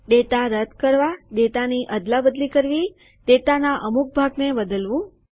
data રદ કરવા ડેટાની અદલાબદલી કરવી ડેટાના અમુક ભાગને બદલવું